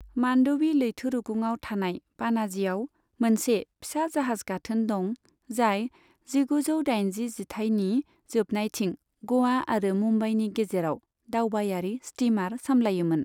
मान्डवी लैथोरुगुंआव थानाय पाणाजीआव मोनसे फिसा जाहाज गाथोन दं, जाय जिगुजौ दाइनजि जिथाइनि जोबनायथिं ग'वा आरो मुम्बाईनि गेजेराव दावबायारि स्टीमार सामलायोमोन।